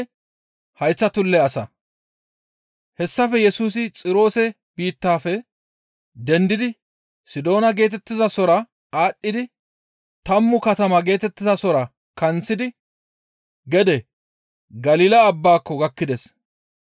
Hessafe Yesusi Xiroose biittafe dendidi Sidoona geetettizasora aadhdhi tammu katama geetettizasora kanththidi gede Galila Abbaako gakkides.